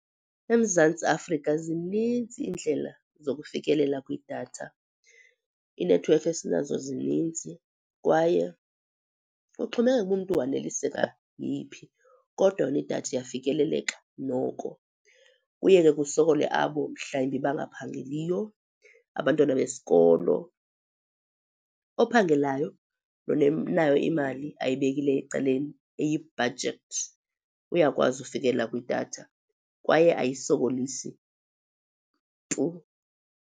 EMzantsi Afrika zininzi iindlela zokufikelela kwidatha. Inethiwekhi esinazo zininzi kwaye kuxhomekeka ukuba umntu waneliseka yeyiphi kodwa yona idatha iyafikeleleka noko. Kuye ke kusokole abo mhlawumbi bangaphangeliyo, abantwana besikolo. Ophangelayo nonayo imali ayibekileyo ecaleni eyi-budget uyakwazi ukufikelela kwidatha kwaye ayisokolisi tu.